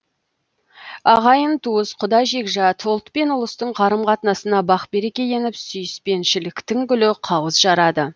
ағайын туыс құда жекжат ұлт пен ұлыстың қарым қатынасына бақ береке еніп сүйіспеншіліктің гүлі қауыз жарады